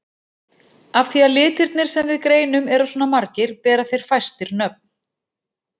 Af því að litirnir sem við greinum eru svona margir bera þeir fæstir nöfn.